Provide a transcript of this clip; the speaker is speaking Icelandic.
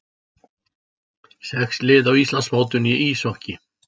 Sex lið á Íslandsmótinu í íshokkíi